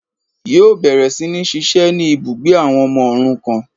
Yíò bẹ̀rẹ̀ sí ní ṣiṣẹ́ ní ibùgbé àwọn ọmọ òrukàn